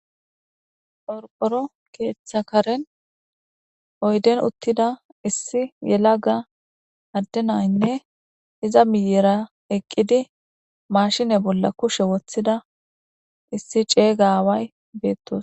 Qoroqoro keeththa karen oyden uttida issi yelaga addenaynne iza miyera eqqidi mashine bolla kushe woththida issi ceygaaway beettos